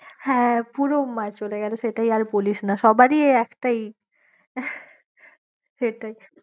হ্যাঁ, পুরো মার চলে গেলো সেটাই আর বলিস না, সবারই একটাই সেটাই,